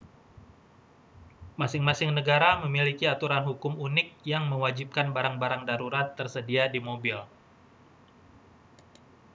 masing-masing negara memiliki aturan hukum unik yang mewajibkan barang-barang darurat tersedia di mobil